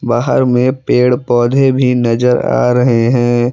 बाहर में पेड़ पौधे भी नजर आ रहे हैं।